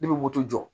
Ne bɛ moto jɔ